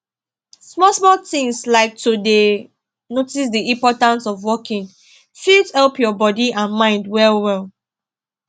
small small things like to dey notice the importance of walking fit help your body and mind well well